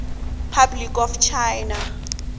republic of china